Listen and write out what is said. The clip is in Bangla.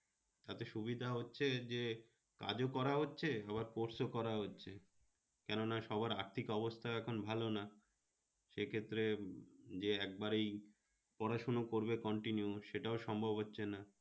সাথে সুবিধা হচ্ছে যে কাজও করা হচ্ছে আবার course ও করা হচ্ছে, কেননা সবার আর্থিক অবস্থা এখন ভালো না সে ক্ষেত্রে যে একবার এই পড়াশোনা করবে continue সেটাও সম্ভব হচ্ছে না